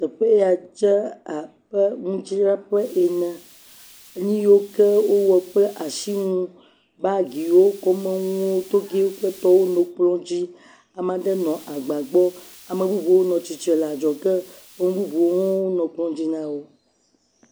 Teƒe ya dze abe nudzraƒe ene. Nu yiwo ke wowɔ kple asinu, bagiwo, kɔmenuwo, togɛwo kple tɔwo nɔ kplɔ̃ dzi. Ame aɖe nɔ agba gbɔ. Ame bubuwo nɔ tsitre le adzɔge. Nu bubuwo hã nɔ kplɔ̃ dzi na wo.s